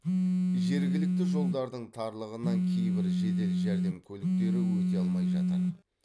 жергілікті жолдардың тарлығынан кейбір жедел жәрдем көліктері өте алмай жатыр